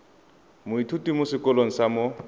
moithuti mo sekolong sa mo